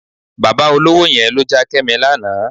Bàbá olówó yẹn ló já Kẹ́mi lánàá.